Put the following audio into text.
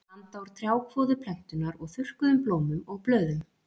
Það er blanda úr trjákvoðu plöntunnar og þurrkuðum blómum og blöðum.